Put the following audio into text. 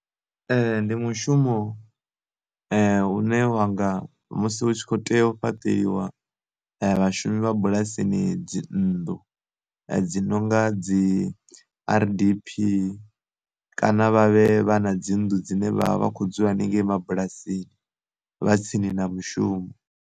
Ndi mushumo une wanga musi hu tshi kho tea u fhaṱeliwa vhashumi vha bulasini dzi nnḓu he dzi nonga dzi r_d_p, kana vhavhe vha na dzi nnḓu dzine vha vha vha kho dzula hanengei mabulasini vha tsini na mushumo.